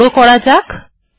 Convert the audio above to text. এটিকে বড় করা যাক